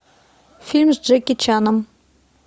фильм с джеки чаном